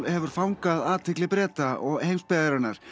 hefur fangað athygli Breta og heimsbyggðarinnar